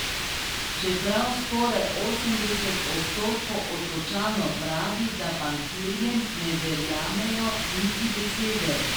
Čeprav skoraj osemdeset odstotkov Otočanov pravi, da bankirjem ne verjamejo niti besede.